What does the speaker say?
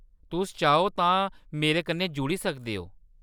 तुस चाहो तां मेरे कन्नै जुड़ी सकदे ओ।